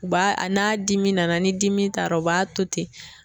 U b'a a n'a dimi nana ni dimi tara u b'a to ten.